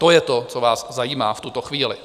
To je to, co vás zajímá v tuto chvíli.